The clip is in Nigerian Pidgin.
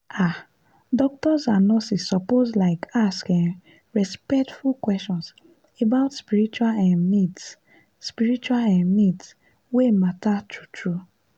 ah doctors and nurses suppose like ask um respectful questions about spiritual um needs spiritual um needs wey matter true-true.